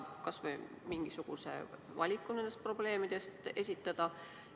Kas saab kas või mingisuguse valiku nendest probleemidest esitada?